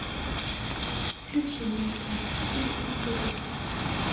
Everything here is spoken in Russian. включи мир двадцать четыре на телевизоре